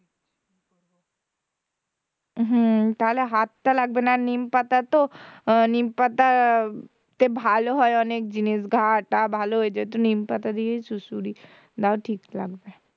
হম তাহলে হাতটা লাগবে না আর নিমপাতা তো আহ নিমপাতা তে ভালো হয় অনেক জিনিস ঘা টা ভালো হয়ে যাই তো নিমপাতা দিয়েছো সুড়সুড়ি দাও ঠিক লাগবে,